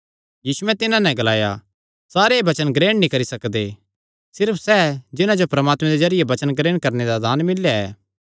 यीशुयैं तिन्हां नैं ग्लाया सारे एह़ वचन ग्रहण नीं करी सकदे सिर्फ सैह़ जिन्हां जो परमात्मे दे जरिये वचन ग्रहण करणे दा दान मिल्लेया ऐ